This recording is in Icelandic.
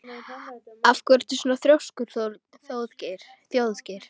Af hverju ertu svona þrjóskur, Þjóðgeir?